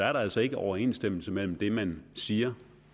er der altså ikke overensstemmelse mellem det man siger